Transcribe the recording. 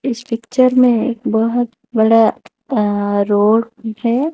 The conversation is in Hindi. इस पिक्चर में एक बहोत बड़ा अं रोड है।